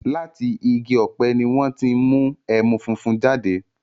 Látì igi ọ̀pẹ̀ ni wọn ti n mú ẹmu fúnfún jáde